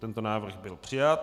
Tento návrh byl přijat.